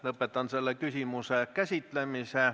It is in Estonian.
Lõpetan selle küsimuse käsitlemise.